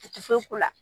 U ti foyi k'u la